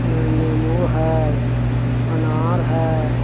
अं नेम्बु हैय अनार हैय।